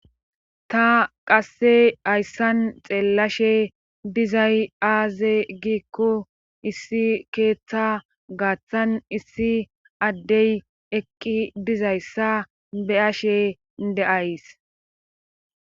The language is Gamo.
Qa qasse hayssan xeellashe dizay aaze giikko issi keeththa gaaththan issi addey eqqi dizayssa beyashe de7ays.